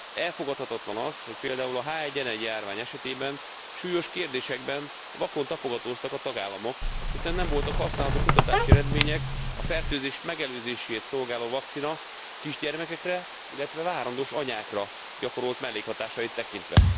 Elfogadhatatlan az, hogy például a H1N1 járvány esetében súlyos kérdésekben vakon tapogatóztak a tagállamok, hiszen nem voltak használható kutatási eredmények a fertőzés megelőzését szolgáló vakcina kisgyermekekre, illetve várandós anyákra gyakorolt mellékhatásait tekintve.